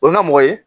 O ye ŋa mɔgɔ ye